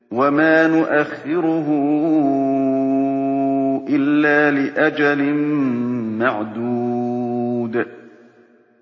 وَمَا نُؤَخِّرُهُ إِلَّا لِأَجَلٍ مَّعْدُودٍ